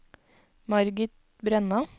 Margit Brenna